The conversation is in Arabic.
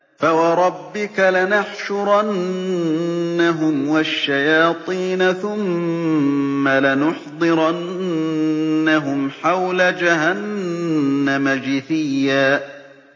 فَوَرَبِّكَ لَنَحْشُرَنَّهُمْ وَالشَّيَاطِينَ ثُمَّ لَنُحْضِرَنَّهُمْ حَوْلَ جَهَنَّمَ جِثِيًّا